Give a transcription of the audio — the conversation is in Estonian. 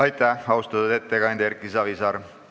Aitäh, austatud ettekandja Erki Savisaar!